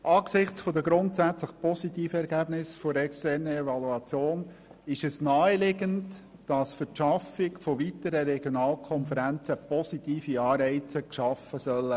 Angesichts der grundsätzlich positiven Ergebnisse der externen Evaluation ist es naheliegend, dass für die Schaffung weiterer Regionalkonferenzen positive Anreize geschaffen werden sollen.